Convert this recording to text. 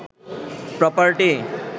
property